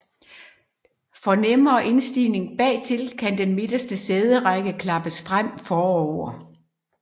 For nemmere indstigning bagtil kan den midterste sæderække klappes frem forover